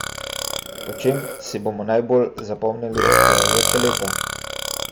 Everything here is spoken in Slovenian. Po čem si bomo najbolj zapomnili odhajajoče leto?